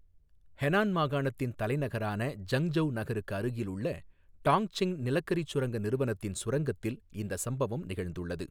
Henan மாகாணத்தின் தலைநகரான Zhengzhou நகருக்கு அருகில் உள்ள டாங்க்சிங் நிலக்கரிச் சுரங்க நிறுவனத்தின் சுரங்கத்தில் இந்தச் சம்பவம் நிகழ்ந்துள்ளது.